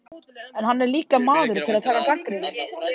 En hann er líka maður til að taka gagnrýni.